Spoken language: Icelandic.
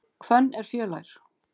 Hvönn er fjölær.